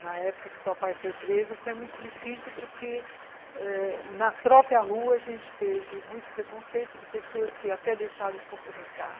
Na época que o papai foi preso, foi muito difícil porque ãh na própria rua a gente teve muito preconceito de pessoas que até deixaram de cumprimentar.